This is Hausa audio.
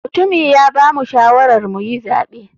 Mutumi ya bamu shawarar muyi zaɓe.